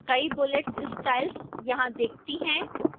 कई bullets styles यहां दिखती हैं